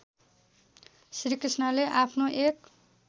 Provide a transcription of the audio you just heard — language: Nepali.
श्रीकृष्णले आफ्नो एक